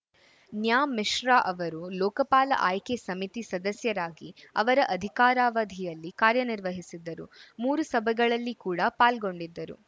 ನ್ಯಾ ಮಿಶ್ರಾ ಅವರು ಲೋಕಪಾಲ ಆಯ್ಕೆ ಸಮಿತಿ ಸದಸ್ಯರಾಗಿ ಅವರ ಅಧಿಕಾರಾವಧಿಯಲ್ಲಿ ಕಾರ್ಯನಿರ್ವಹಿಸಿದ್ದರು ಮೂರು ಸಭೆಗಳಲ್ಲಿ ಕೂಡ ಪಾಲ್ಗೊಂಡಿದ್ದರು